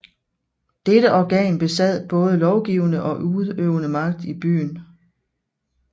Dette organ besad både lovgivende og udøvende magt i byen